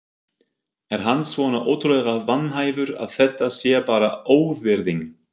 Er hann svona ótrúlega vanhæfur að þetta sé bara óvirðing?